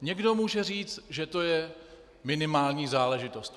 Někdo může říct, že to je minimální záležitost.